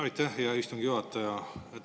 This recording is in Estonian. Aitäh, hea istungi juhataja!